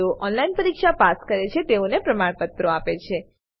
જેઓ ઓનલાઈન પરીક્ષા પાસ કરે છે તેઓને પ્રમાણપત્રો આપે છે